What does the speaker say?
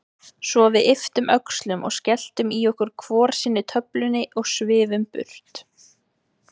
Svo við ypptum öxlum og skelltum í okkur hvor sinni töflunni og svifum burt.